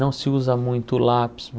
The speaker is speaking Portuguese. Não se usa muito o lápis.